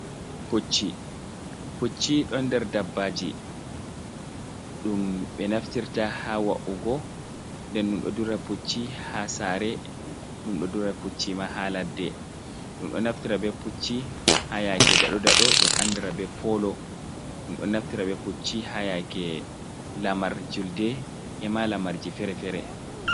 Pucci pucchi don der dabbaji dum be naftirta ha wa’ugo, nden dumdo dura pucci ha sare dum do dura pucci ma ha ladde dum do naftira be pucci ha yake daodado dum andara be polo dum do naftira be pucci ha yake lamar julde e ma lamarji fere-fere.